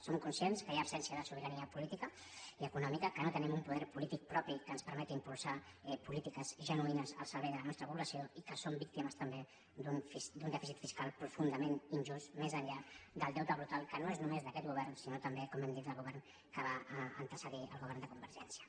som conscients que hi ha absència de sobirania política i econòmica que no tenim un poder polític propi que ens permeti impulsar polítiques genuïnes al servei de la nostra població i que som víctimes també d’un dèficit fiscal profundament injust més enllà del deute brutal que no és només d’aquest govern sinó també com hem dit del govern que va antecedir el govern de convergència